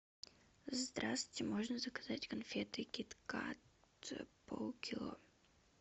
здрасте можно заказать конфеты кит кат полкило